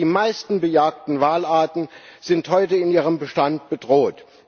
Die meisten gejagten Walarten sind heute in ihrem Bestand bedroht.